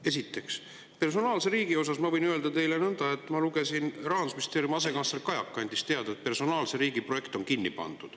Esiteks, personaalse riigi kohta ma võin öelda teile nõnda: ma lugesin, Rahandusministeeriumi asekantsler Kajak andis teada, et personaalse riigi projekt on kinni pandud.